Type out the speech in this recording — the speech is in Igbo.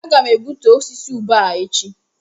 Aga m egbutu osisi ube a echi